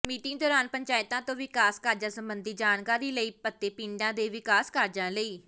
meeting ਦੋਰਾਨ ਪੰਚਾਇਤਾਂ ਤੋਂ ਵਿਕਾਸ ਕਾਰਜਾਂ ਸਬੰਧੀ ਜਾਣਕਾਰੀ ਲਈ ਅਤੇ ਪਿੰਡਾਂ ਦੇ ਵਿਕਾਸ ਕਾਰਜਾਂ ਲਈ